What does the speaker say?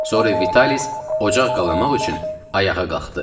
Sonra Vitalis ocaq qalamaq üçün ayağa qalxdı.